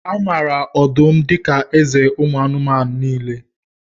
A maara ọdụm dika eze ụmụ anụmanụ niile